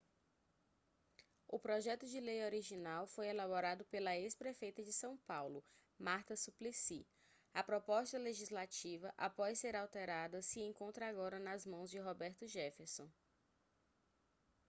o projeto de lei original foi elaborado pela ex-prefeita de são paulo marta suplicy a proposta legislativa após ser alterada se encontra agora nas mãos de roberto jefferson